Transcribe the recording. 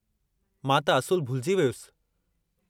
मां त असुलु भुलिजी वियुसि।